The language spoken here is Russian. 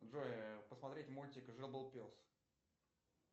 джой посмотреть мультик жил был пес